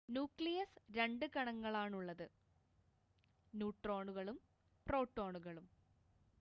nucleus 2 കണങ്ങളാണുള്ളത് ന്യൂട്രോണുകളും പ്രോട്ടോണുകളും